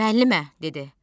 Müəllimə, dedi.